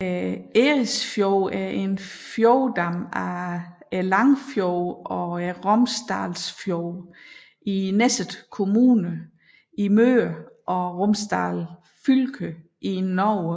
Eresfjorden er en fjordarm af Langfjorden og Romsdalsfjorden i Nesset kommune i Møre og Romsdal fylke i Norge